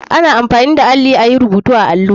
Ana amfani da alli ayi rubutu a allo.